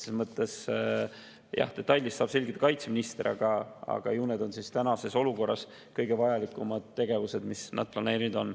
Selles mõttes jah, detaile saab selgitada kaitseminister, aga ju need on tänases olukorras kõige vajalikumad tegevused, mis nad planeerinud on.